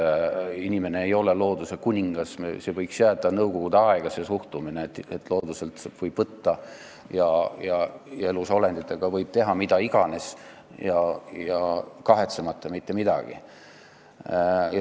Inimene ei ole looduse kuningas, see suhtumine võiks jääda nõukogude aega, et looduselt võib võtta ja elusolenditega võib teha mida iganes, kahetsemata mitte midagi.